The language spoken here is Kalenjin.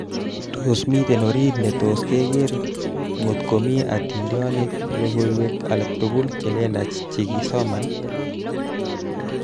Tos miten orit netos keker ngt komi adintonikab logoiwek aletugul chelelach chekesoman?